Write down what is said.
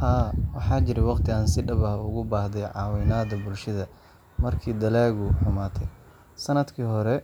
Haa, waxaa jiray waqti aan si dhab ah uga baahday caawimada bulshada markii dalaggaygu xumaaday. Sanadkii hore,